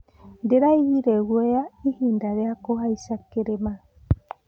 Ndĩraiguire guoya ihinda rĩa kũhaica kĩrĩma.